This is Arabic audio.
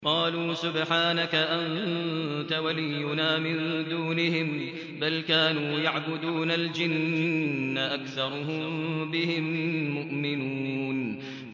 قَالُوا سُبْحَانَكَ أَنتَ وَلِيُّنَا مِن دُونِهِم ۖ بَلْ كَانُوا يَعْبُدُونَ الْجِنَّ ۖ أَكْثَرُهُم بِهِم مُّؤْمِنُونَ